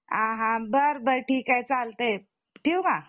हा हा बरं बरं ठीक चालतंय ठेऊ का?